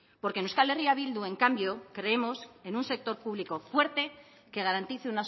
porque en euskal herria bildu en cambio creemos en un sector público fuerte que garantice